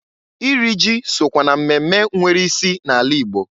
Iri ji sokwa na mmemme nwere isi na-ala ịgbo.